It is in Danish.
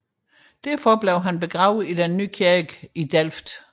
Derfor blev han begravet i Den nye kirke i Delft